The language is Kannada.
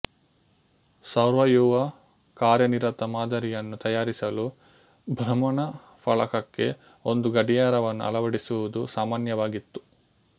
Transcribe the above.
ಸೌರವ್ಯೂಹ ಕಾರ್ಯನಿರತ ಮಾದರಿಯನ್ನು ತಯಾರಿಸಲು ಭ್ರಮಣಾಫಲಕಕ್ಕೆ ಒಂದು ಗಡಿಯಾರವನ್ನು ಅಳವಡಿಸುವುದು ಸಾಮಾನ್ಯವಾಗಿತ್ತು